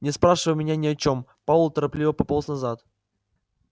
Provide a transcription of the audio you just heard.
не спрашивай меня ни о чём пауэлл торопливо пополз назад